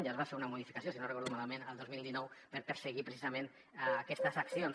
ja es va fer una modificació si no recordo malament el dos mil dinou per perseguir precisament aquestes accions